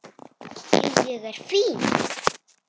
Jú, ég er fínn.